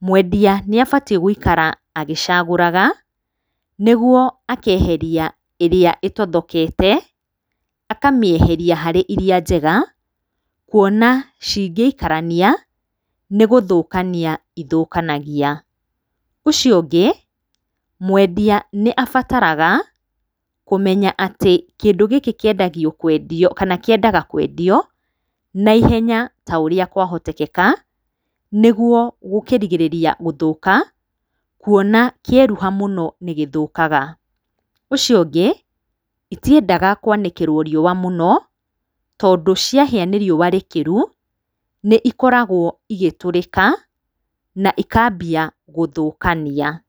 mwendia nĩ abatiĩ gũikaraga agĩcagũraga, nĩguo akeheria ĩrĩa ĩtothokete, akamĩeheria harĩ iria njega kuona ingĩikarania nĩ gũthũkania ithũkanagia. Ũcio ũngĩ, mwendia nĩ abataraga kũmenya atĩ kĩndũ gĩkĩ kĩendagio kwendio, kana kĩendaga kwendio na ihenya ta ũrĩa kwahoteteka, nĩguo gũkĩrigĩrĩria gũthũka, kuona kĩeruha mũno nĩ gĩthũkaga. Ũcio ũngĩ, itindaga kwanĩkĩrwo riũa mũno, tondũ ciahĩa nĩ riũa ikĩru nĩ ikoragwo igĩtũrĩka na ikambia gũthũkania.